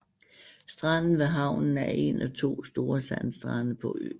Stranden ved havnen er en af to store sandstrande på øen